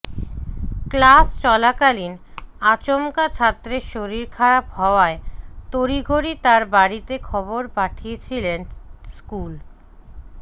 class চলাকালীন আচমকা ছাত্রের শরীর খারাপ হওয়ায় তড়িঘড়ি তাঁর বাড়িতে খবর পাঠিয়েছিলেন স্কুল